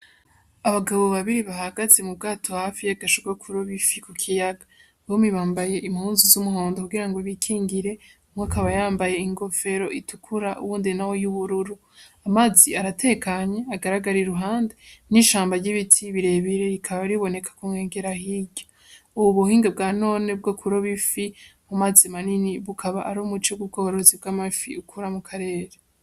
Abagabo babiri bahagaze mu bwato hafi y'agasho ko kuroba ifi ku kiyaga, bompi bambaye impuzu z'umuhondo kugira ngo bikingire, umwe akaba yambaye ingofera itukura uwundi nawe y'ubururu, amazi aratekanye agaragara iruhande, n'ishamba ry'ibiti birebire rikaba riboneka ku nkengera hirya, ubu buhinga bwa none bwo kuroba ifi mu mazi manini bukaba ari umuce w'ubworozi bw'amafi bukora mu karere.